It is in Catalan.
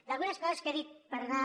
d’algunes coses que he dit per anar